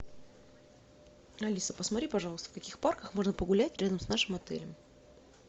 алиса посмотри пожалуйста в каких парках можно погулять рядом с нашим отелем